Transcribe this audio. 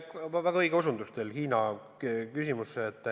See on väga õige osutus.